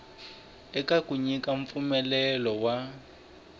eka ku nyika mpfumelelo wa